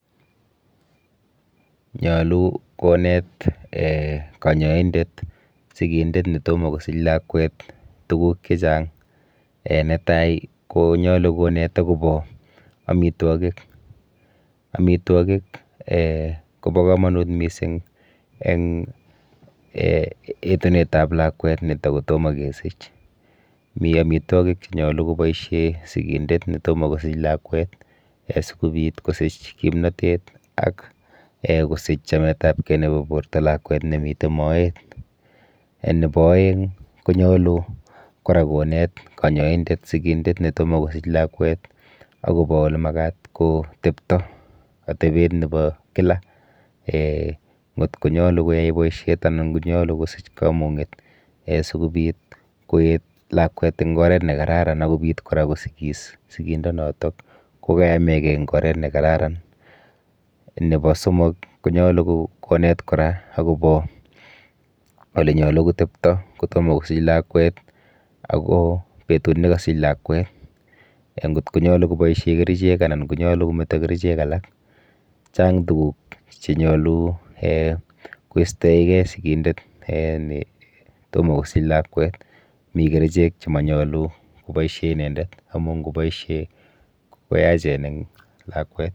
Nyolu konet um kanyoindet sikindet netomo kosich lakwet tuguk chechang um netai konyolu konet akopo aitwokik. Amitwokik um kopo komonut mising eng um etunetap lakwet netakotomo kesich. Mi amitwokik chenyolu kopoishe sikindet netomo kosich lakwet um sikobit kosich kimnatet ak [um]kosich chametapkei nepo borto lakwet nemite moet. um Nepo oeng konyolu kora konet kanyoindet sikindet netomo kosich lakwet akopo olemakat kotepto, atepet nepo kila um nkot konyolu koyai boishet anan konyolu kosich kamung'et um sikobit koet lakwet eng oret nekararan ak kopit kora kosikis sikindonoto kokayamekei eng oret nekararan. Nepo somok konyolu konet kora akopo olenyolu kotepto kotomo kosich lakwet ako betut nekasich lakwet nkot konyolu koboishe kerichek anan konyolu kometo kerichek alak. Chang tuguk chenyolu um koistoeke sikindet um netomo kosich lakwet. Mi kerichek chemanyolu koboishe inendet amu nkoboishe koyachen eng lakwet.